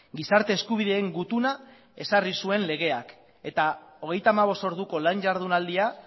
gizarte eskubideen gutuna ezarri zuen legeak eta hogeita hamabost orduko lan jardunaldia